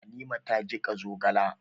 Halima ta jiƙa zogala.